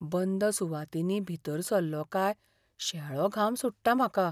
बंद सुवातांनी भीतर सल्लों काय शेळो घाम सुट्टा म्हाका.